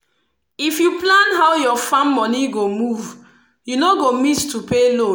if you plan how your farm money go move you no go miss to pay loan